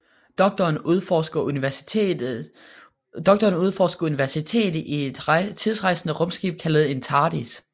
Doktoren udforsker universet i et tidsrejsende rumskib kaldet en TARDIS